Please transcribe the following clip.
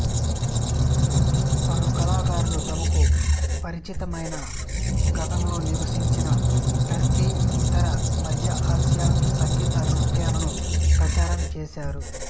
పలు కళాకారులు తమకు పరిచితమైన గతంలో నివసించిన టర్కీ ఇతర మద్య ఆసియా సంగీత నృత్యాలను ప్రచారం చేసారు